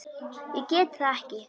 Ég get það ekki